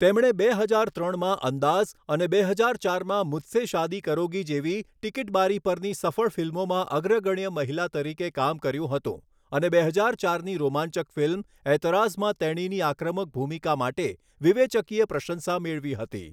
તેમણે બે હજાર ત્રણમાં 'અંદાઝ' અને બે હજાર ચારમાં 'મુઝસે શાદી કરોગી' જેવી ટીકીટ બારી પરની સફળ ફિલ્મોમાં અગ્રગણ્ય મહિલા તરીકે કામ કર્યું હતું અને બે હજાર ચારની રોમાંચક ફિલ્મ ઐતરાઝમાં તેણીની આક્રમક ભૂમિકા માટે વિવેચકીય પ્રશંસા મેળવી હતી.